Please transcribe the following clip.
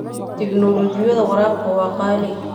Tignoolajiyada waraabka waa qaali.